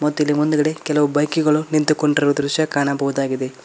ಮತ್ತಿಲ್ಲಿ ಮುಂದುಗಡೆ ಕೆಲವು ಬೈಕ್ ಗಳು ನಿಂತುಕೊಂಡಿರುವ ದೃಶ್ಯ ಕಾಣಬಹುದಾಗಿದೆ.